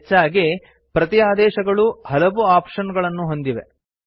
ಹೆಚ್ಚಾಗಿ ಪ್ರತಿ ಆದೇಶಗಳೂ ಹಲವು ಆಪ್ಶನ್ ಗಳನ್ನು ಹೊಂದಿವೆ